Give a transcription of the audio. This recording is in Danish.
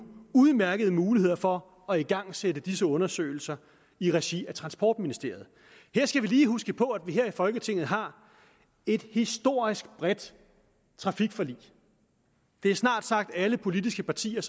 udmærkede muligheder for at igangsætte disse undersøgelser i regi af transportministeriet her skal vi lige huske på at vi her i folketinget har et historisk bredt trafikforlig det er snart sagt alle politiske partier